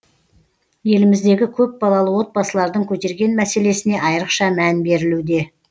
еліміздегі көпбалалы отбасылардың көтерген мәселесіне айрықша мән берілуде